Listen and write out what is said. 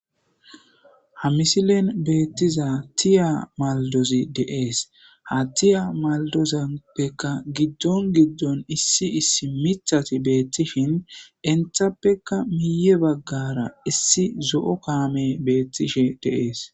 ha misilen beettiza tiya maldozi deees ha tiya maldozappeka giddon giddon issi issi mithati beettishin entappeka miye baggara issi zo7o kaame beettishe deees